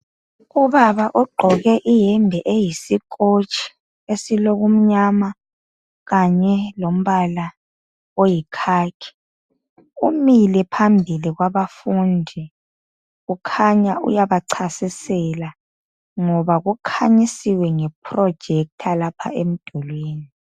Ubaba ogqoke iyembe eyisikotshi esilokumnyama kanye lombala oyikhakhi umile phambi kwabafundi, ukhanya uyabachasisela ngoba kukhanyisiwe ngeprojekitha lapha emdulini.